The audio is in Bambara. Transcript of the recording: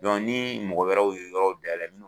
ni mɔgɔ wɛrɛw ye yɔrɔw dayɛlɛ